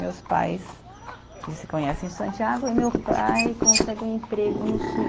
Meus pais eles se conhecem em Santiago e meu pai consegue um emprego no Sul.